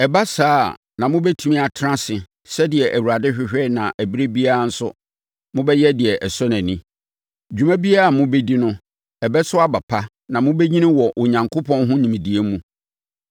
Ɛba saa a na mobɛtumi atena ase sɛdeɛ Awurade hwehwɛ na ɛberɛ biara nso, mobɛyɛ deɛ ɛsɔ nʼani. Dwuma biara a mobɛdi no, ɛbɛso aba pa na mobɛnyini wɔ Onyankopɔn ho nimdeɛ mu.